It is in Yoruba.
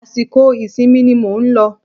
Àsìkò ìsinmi ni mò ń lọ